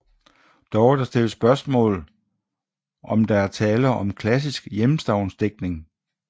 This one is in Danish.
Dog er der stillet spørgsmål om der er tale om klassisk hjemstavnsdigtning